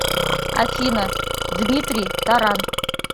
афина дмитрий таран